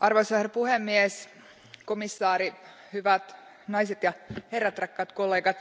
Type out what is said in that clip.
Arvoisa puhemies, komissaari, hyvät naiset ja herrat, rakkaat kollegat,